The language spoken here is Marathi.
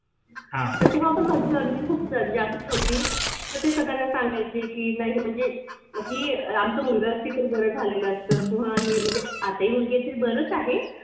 तेव्हा पण माझी earning खूप जास्त होती. तर ते सगळ्यांना सांगायचे की नाही म्हणजे म ही आमचा मुलगा असती तर बरं झालं असतं किंवा म्हणजे आता ही मुलगी बरच आहे.